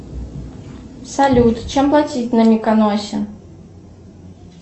салют чем платить на миконосе